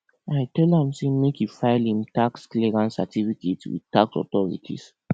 i tell am sey make e file im tax clearance certificate with tax authorities